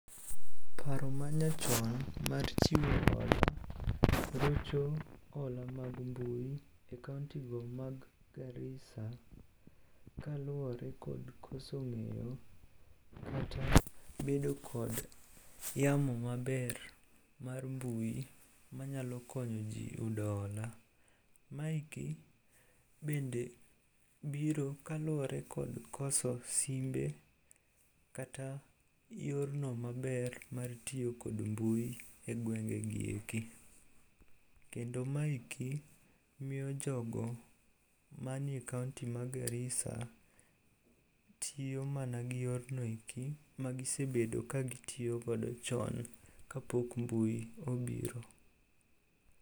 Paro manyachon mar chiwo hola rocho hola mag mbui e kaontigo ma Garissa kaluwore kod koso ng'eyo kata bedo kod yamo maber mar mbui manyalo konyoji yudo hola. Maeki bende biro kaluwore kod koso simbe kata yorno maber mar tiyo kod mbui e gwengegi eki. Kendo maeki miyo jogo manie kaonti ma Garissa tiyo mana gi yorno eki magisebedo kagitiyogodo chon kapok mbui obiro.